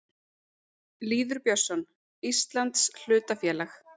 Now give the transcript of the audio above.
Lýður Björnsson: Íslands hlutafélag.